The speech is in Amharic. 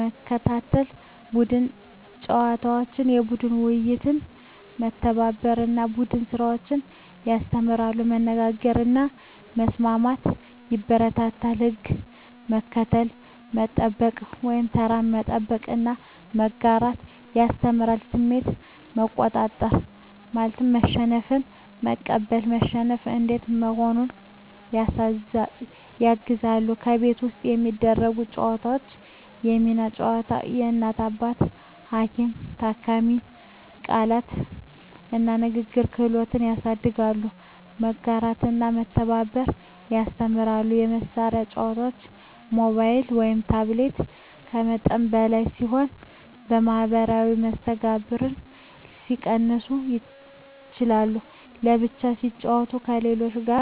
መከታተል ቡድን ጨዋታዎች (የቡድን ውድድር) መተባበርን እና ቡድን ስራን ያስተምራሉ መነጋገርን እና መስማትን ያበረታታሉ ሕግ መከተል፣ መጠበቅ (ተራ መጠበቅ) እና መጋራት ያስተምራሉ ስሜት መቆጣጠር (መሸነፍን መቀበል፣ መሸነፍ እንዴት መሆኑን) ያግዛሉ ከቤት ውስጥ የሚደረጉ ጨዋታዎች የሚና ጨዋታ (እናት–አባት፣ ሐኪም–ታካሚ) ቃላት እና ንግግር ክህሎት ያሳድጋሉ መጋራትና መተባበር ያስተምራሉ የመሳሪያ ጨዋታዎች (ሞባይል/ታብሌት) ከመጠን በላይ ሲሆኑ የማኅበራዊ መስተጋብርን ሊቀንሱ ይችላሉ በብቻ ሲጫወቱ ከሌሎች ጋር መገናኘት ይቀንሳል